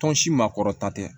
Tɔn si makɔrɔta tɛ